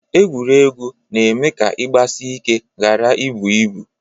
Egwuregwu na-eme ka ị gbasị ike ghara ibụ ibụ